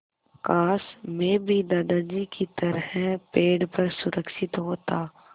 काश मैं भी दादाजी की तरह पेड़ पर सुरक्षित होता